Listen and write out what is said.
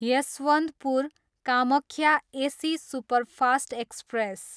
Yesvantpur, Kamakhya AC superfast express